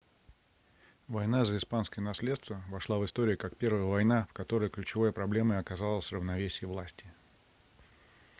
война за испанское наследство вошла в историю как первая война в которой ключевой проблемой оказалось равновесие власти